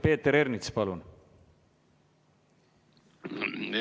Peeter Ernits, palun!